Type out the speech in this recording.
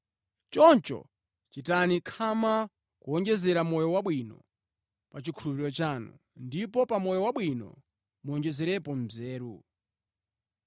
Choncho, chitani khama kuwonjezera moyo wabwino pa chikhulupiriro chanu, ndipo pa moyo wabwino muwonjezerepo nzeru.